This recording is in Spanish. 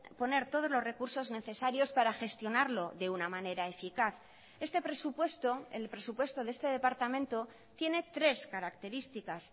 poner todos los recursos necesarios para gestionarlo de una manera eficaz este presupuesto el presupuesto de este departamento tiene tres características